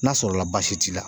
N'a sɔrɔla baasi t'i la